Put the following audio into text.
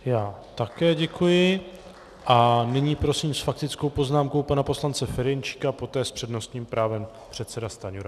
Já také děkuji a nyní prosím s faktickou poznámkou pana poslance Ferjenčíka a poté s přednostním právem předseda Stanjura.